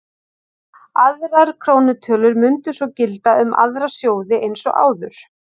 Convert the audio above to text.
Aðrar krónutölur mundu svo gilda um aðra sjóði eins og áður.